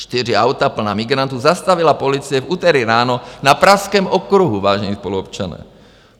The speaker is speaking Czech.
Čtyři auta plná migrantů zastavila policie v úterý ráno na Pražském okruhu, vážení spoluobčané.